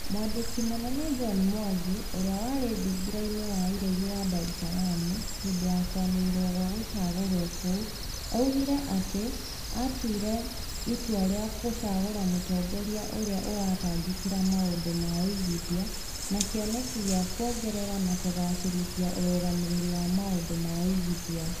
Mwandĩki Mũnene John Mwangi ũrĩa warĩ thingira-inĩ wa iregi wa Dar es Salaam hĩndĩ ya kwanĩrĩrwo gwa gũcagũrwo kũu, augire atĩ atuire itua rĩa gũcagũra mũtongoria ũrĩa ũratangĩkĩra maũndũ ma uigithia na kĩoneki kĩa kuongerera na kũgacĩrithia ũrũgamĩrĩri wa maũndũ ma ũigithia